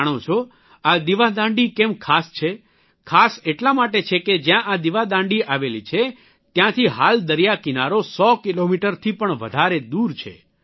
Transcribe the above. જાણો છો આ દિવાદાંડી કેમ ખાસ છે ખાસ એટલા માટે છે કે જયાં આ દિવાદાંડી આવેલી છે ત્યાંથી હાલ દરિયાકિનારો સો કિલોમીટરથી પણ વધારે દૂર છે